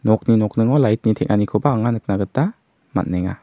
nokni nokningo light-ni teng·anikoba anga nikna gita man·enga.